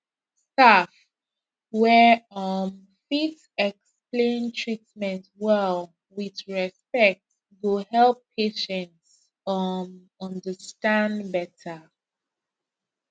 staff wey um fit explain treatment well with respect go help patients um understand better